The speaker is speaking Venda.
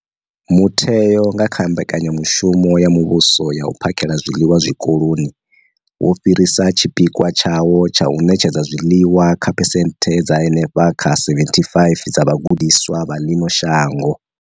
Mutheo, nga kha Mbekanyamushumo ya Muvhuso ya U phakhela zwiḽiwa Zwikoloni, wo fhirisa tshipikwa tshawo tsha u ṋetshedza zwiḽiwa kha phesenthe dza henefha kha 75 dza vhagudiswa vha ḽino shango.